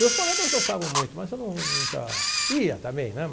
Meus colegas gostavam muito, mas eu nunca ia também, né?